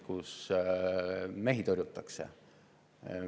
Ongi selliseid juhtumeid!